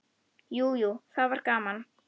Jú, jú, það var gaman.